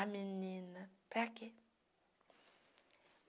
Ah, menina, para quê?